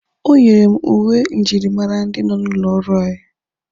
O nyere m uwe njirimara ndị nọ n'ụlọ ọrụ anyị